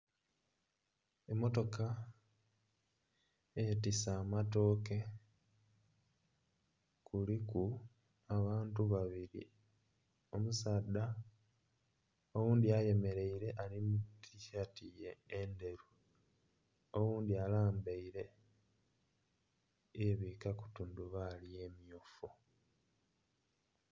Mmotoka eyetise amatooke kuliku abantu babiri, omusaadha oghundi ayemereire ali mu tisaati enderu oghundi alambaire yebwikaku tundubaali emyufu